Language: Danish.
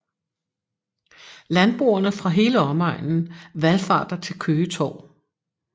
Landboerne fra hele omegnen valfarter til Køge Torv